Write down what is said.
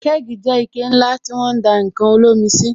Kẹ́gì jẹ́ ike ńlá tí won ń dá ǹkan olómi sí